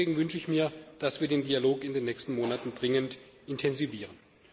Und auch deswegen wünsche ich mir, dass wir den Dialog in den nächsten Monaten dringend intensivieren.